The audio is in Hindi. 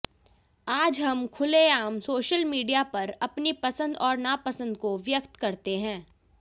आज हम खुलेआम सोशल मीडिया पर अपनी पसंद और नापसंद को व्यक्त करते हैं